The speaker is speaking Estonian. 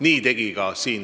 Ja seda tegin ka mina.